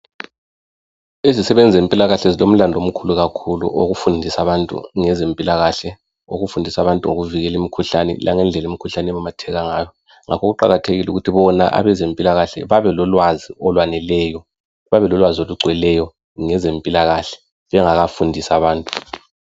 Izisebenzi zempilakahle zilomlandu omkhulu kakhulu wokufundisa abantu ngezempilakhle, ukufundisa abantu ngokuvikela imikhuhlane langendlela imikhuhlane ememetheka ngayo. Ngakho kuqakathekile ukuthi bona abezempilakahle babe lolwazi olwaneleyo, babelolwazi olugcweleyo ngezempilakahle bengakafundisi abantu.